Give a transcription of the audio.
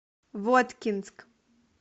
воткинск